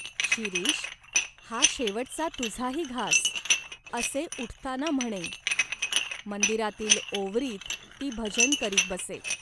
' शिरीष, हा शेवटचा तुझा ही घास,'असे उठताना म्हणे. मंदिरातील ओवरीत ती भजन करीत बसे.